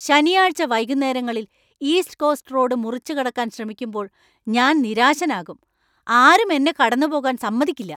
ശനിയാഴ്ച വൈകുന്നേരങ്ങളിൽ East Coast Road മുറിച്ചുകടക്കാൻ ശ്രമിക്കുമ്പോൾ ഞാൻ നിരാശനാകും, ആരും എന്നെ കടന്നുപോകാൻ സമ്മതിക്കില്ല .